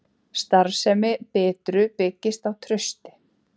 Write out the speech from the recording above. Starfsemi Bitru byggist á trausti